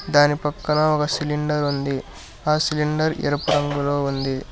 దాని పక్కన ఒక సిలిండర్ ఉంది ఆ సిలిండర్ ఎరుపు రంగులో ఉంది.